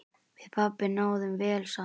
Við pabbi náðum vel saman.